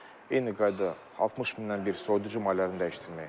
Eyni qayda 60000-dən bir soyuducu mallarını dəyişdirməyi.